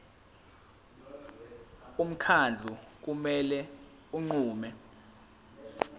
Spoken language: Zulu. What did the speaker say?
umkhandlu kumele unqume